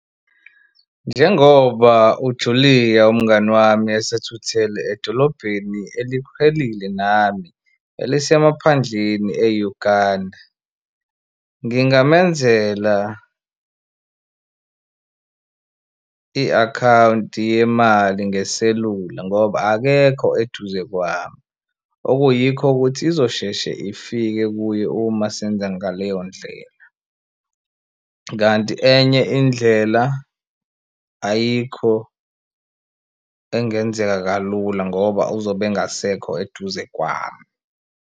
Njengoba uJulia umngani wami esethuthele edolobheni eliqhellile nami elisemaphandleni eUganda ngingamenzela i-akhawunti yemali ngeselula ngoba akekho eduze kwami. Ukuyikho ukuthi izosheshe ifike kuye uma senza ngaleyo ndlela kanti enye indlela ayikho engenzeka kalula ngoba uzobe engasekho eduze kwami.